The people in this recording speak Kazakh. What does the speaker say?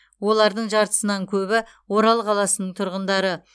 олардың жартысынан көбі орал қаласының тұрғындары